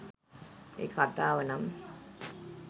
ඒක කතාව නම්